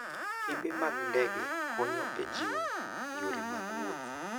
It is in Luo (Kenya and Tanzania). Kembe mag ndege konyo e jiwo yore mag wuoth.